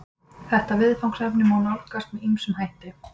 Þetta viðfangsefni má nálgast með ýmsum hætti.